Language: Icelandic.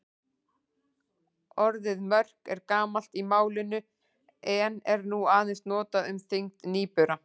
Orðið mörk er gamalt í málinu en er nú aðeins notað um þyngd nýbura.